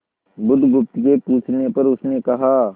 बुधगुप्त के पूछने पर उसने कहा